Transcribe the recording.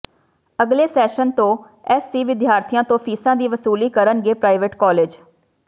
ਅਗਲੇ ਸੈਸ਼ਨ ਤੋਂ ਐੱਸਸੀ ਵਿਦਿਆਰਥੀਆਂ ਤੋਂ ਫੀਸਾਂ ਦੀ ਵਸੂਲੀ ਕਰਨਗੇ ਪ੍ਰਾਈਵੇਟ ਕਾਲਜ